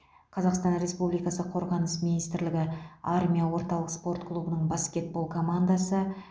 қазақстан республикасы қорғаныс министрлігі армия орталық спорт клубының баскетбол командасы